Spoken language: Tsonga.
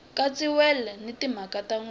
katsiwile na timhaka tin wana